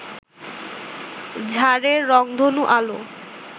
ঝাড়ের রংধনু আলো